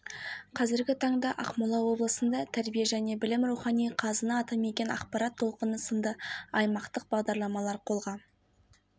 ақан біржандардың ізбасарлары жас айтыскер ақындарды тәрбиелеп жыл сайын облыс көлемінде бұрын болмаған оқушылар айтысын ұйымдастырып